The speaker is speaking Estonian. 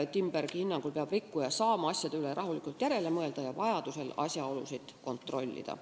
Timbergi hinnangul peab rikkuja saama asjade üle rahulikult järele mõelda ja vajadusel asjaolusid kontrollida.